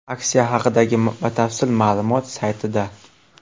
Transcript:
Aksiya haqidagi batafsil ma’lumot saytida.